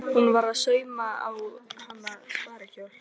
Vigdísar Finnbogadóttur er að svipurinn yfir embættinu hafi breyst mjög.